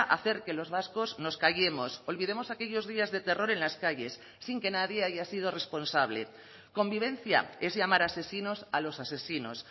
hacer que los vascos nos callemos olvidemos aquellos días de terror en las calles sin que nadie haya sido responsable convivencia es llamar asesinos a los asesinos